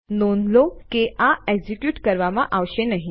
નોંધ લો કે આ એક્ઝિક્યુટ કરવામાં આવશે નહી